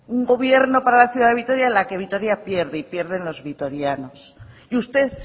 un gobierno para la ciudad de vitoria en la que vitoria pierde y pierden los vitorianos y usted